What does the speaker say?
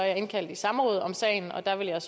jeg indkaldt i samråd om sagen og der vil jeg